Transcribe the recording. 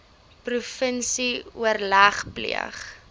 provinsie oorleg pleeg